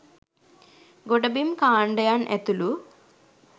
ගොඩ බිම් කාණ්ඩයන් ඇතුළු